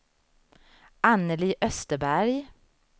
Annelie Österberg